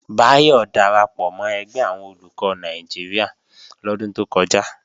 Báyọ̀ darapọ̀ mọ́ ẹgbẹ́ àwọn Olùkọ́ Nàìjíríà lọ́dún tó kọjá